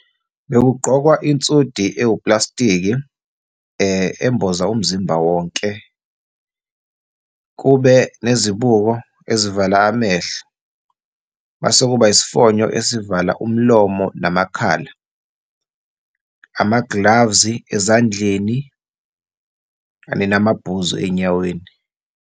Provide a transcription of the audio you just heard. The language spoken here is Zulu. Bekugqwokwa insudi ewuplastiki emboza umzimba wonke, kube nezibuko ezivala amehlo, mase kuba isifonyo esizovala umlomo namakhala, ama-gloves ezandleni kanye namabhuzu ey'nyaweni.